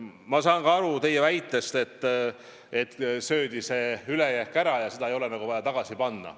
Ma saan aru teie väitest, et ülejääk söödi ära ja seda nagu ei ole vaja tagasi panna.